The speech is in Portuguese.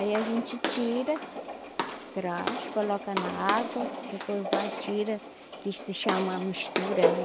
Aí a gente tira, traz, coloca na água, depois vai, tira, que se chama mistura, né?